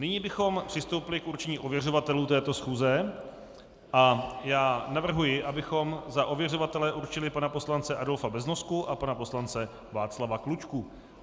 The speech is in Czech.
Nyní bychom přistoupili k určení ověřovatelů této schůze a já navrhuji, abychom za ověřovatele určili pana poslance Adolfa Beznosku a pana poslance Václava Klučku.